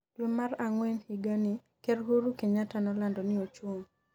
dwe mar ang'wen higa ni, ker Uhuru Kenyatta nolando ni ochung